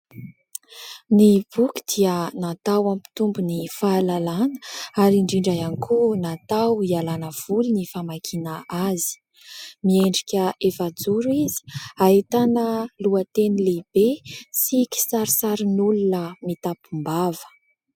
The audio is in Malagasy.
Ny boky dia natao hampitombo ny fahalalàna ary indrindra ihany koa natao hialana voly ny famakiana azy. Miendrika efajoro izy, ahitana lohateny lehibe sy kisarisarin'olona mitampom-bava.